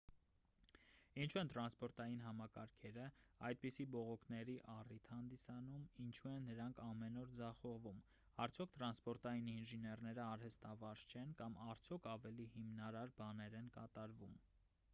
ինչու են տրանսպորտային համակարգերը այդպիսի բողոքների առիթ հանդիսանում ինչու են դրանք ամեն օր ձախողվում արդյոք տրանսպորային ինժեներնեը արհեստավարժ չեն կամ արդյոք ավելի հիմնարար բաներ են կատարվում